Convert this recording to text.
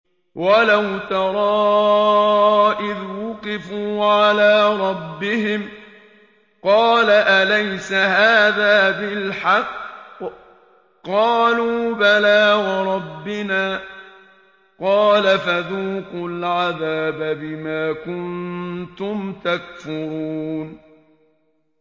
وَلَوْ تَرَىٰ إِذْ وُقِفُوا عَلَىٰ رَبِّهِمْ ۚ قَالَ أَلَيْسَ هَٰذَا بِالْحَقِّ ۚ قَالُوا بَلَىٰ وَرَبِّنَا ۚ قَالَ فَذُوقُوا الْعَذَابَ بِمَا كُنتُمْ تَكْفُرُونَ